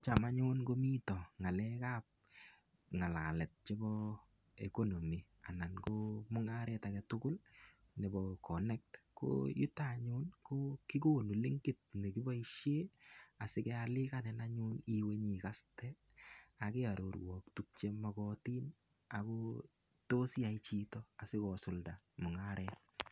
Cham anyun komoite ng'alalet ab economy ana mung'aret age tugul nebo connect koyuton anyun kegonu linkit ne kiboisiie asikealikan nayun iwe ikaste ak kearorwok tuguk che mogotin ago tos iyai chito asikosulda mung'aret.